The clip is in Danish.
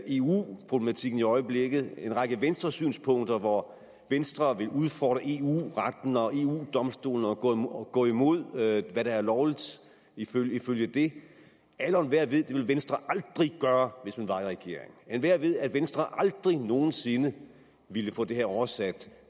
eu problematikken i øjeblikket en række venstresynspunkter hvor venstre vil udfordre eu retten og eu domstolen og gå og gå imod hvad der er lovligt ifølge ifølge det alle og enhver ved at det ville venstre aldrig gør hvis man var i regering enhver ved at venstre aldrig nogen sinde ville få det her oversat